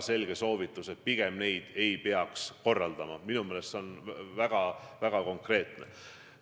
See on täna väga selge ja minu meelest väga konkreetne soovitus.